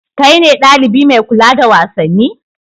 Kai ne ɗalibi mai kula da wasanni?